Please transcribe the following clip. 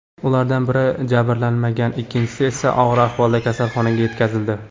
Ulardan biri jabrlanmagan, ikkinchisi esa og‘ir ahvolda kasalxonaga yetkazildi.